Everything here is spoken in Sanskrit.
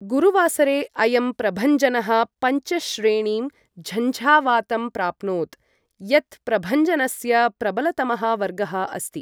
गुरुवासरे अयं प्रभञ्जनः पञ्च श्रेणीं झञ्झावातं प्राप्नोत्, यत् प्रभञ्जनस्य प्रबलतमः वर्गः अस्ति।